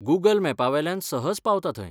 Google मॅपावेल्यान सहज पावता थंय.